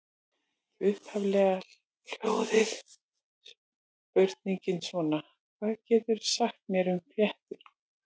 Upphaflega hljóðaði spurningin svona: Hvað geturðu sagt mér um fléttur?